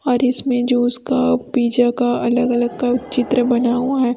और इसमें जो उसका पिज़्ज़ा का अलग अलग का चित्र बना हुआ है।